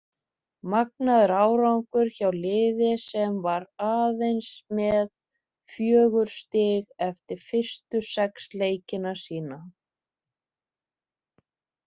Magnaður árangur hjá liði sem var aðeins með fjögur stig eftir fyrstu sex leiki sína.